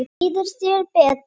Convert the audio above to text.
Líður þér betur?